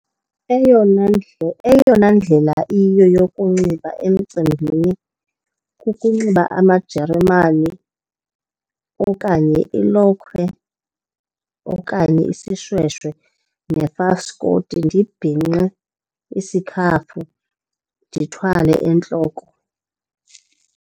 Eyona , eyona ndlela iyiyo yokunxiba emicimbini kukunxiba amajeremane okanye ilokhwe okanye isishweshe nefaskoti, ndibhinqe isikhafu, ndithwale entloko.